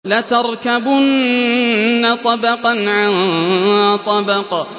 لَتَرْكَبُنَّ طَبَقًا عَن طَبَقٍ